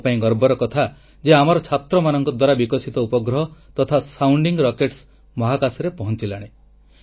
ଆମ ପାଇଁ ଗର୍ବର କଥା ଯେ ଆମର ଛାତ୍ରମାନଙ୍କ ଦ୍ୱାରା ବିକଶିତ ଉପଗ୍ରହ ତଥା ସାଉଣ୍ଡିଂ ରକେଟ୍ସ ମହାକାଶରେ ପହଁଚିଲାଣି